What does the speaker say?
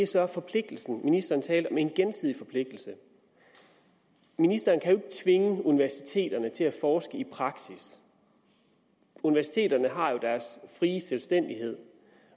så om forpligtelsen ministeren talte om en gensidig forpligtelse ministeren kan jo tvinge universiteterne til at forske i praksis universiteterne har jo deres frie selvstændighed